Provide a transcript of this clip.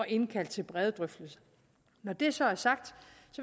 indkalde til brede drøftelser når det så er sagt